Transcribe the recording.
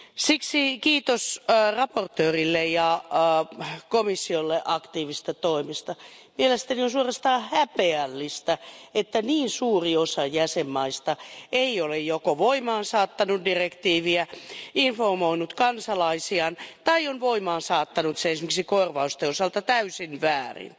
Siksi kiitos esittelijälle ja komissiolle aktiivisista toimista. Mielestäni on suorastaan häpeällistä, että niin suuri osa jäsenvaltioista ei ole joko voimaansaattanut direktiiviä, informoinut kansalaisiaan, tai on voimaansaattanut sen esimerkiksi korvausten osalta täysin väärin.